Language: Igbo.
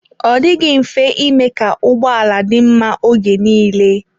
Ọ dịghị mfe ime ka ụgbọala dị mma oge nile.